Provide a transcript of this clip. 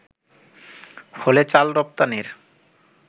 ফলে চাল রপ্তানির